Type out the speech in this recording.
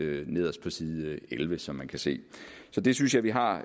nederst på side elleve som man kan se så det synes jeg vi har